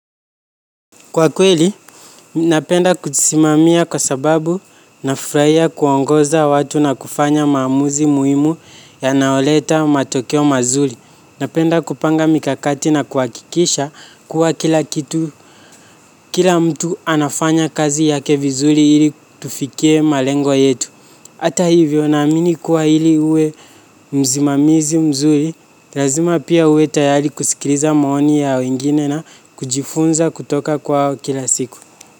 Kwa kweli, napenda kujisimamia kwa sababu nafurahia kuongoza watu na kufanya maamuzi muhimu yanaoleta matokeo mazuri. Napenda kupanga mikakati na kuhakikisha kuwa kila mtu anafanya kazi yake vizuri ili tufikie malengo yetu. Hata hivyo, naamini kuwa ili uwe msimamizi mzuri, lazima pia uwe tayari kusikiliza maoni ya wengine na kujifunza kutoka kwao kila siku. Kwa hivyo.